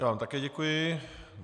Já vám také děkuji.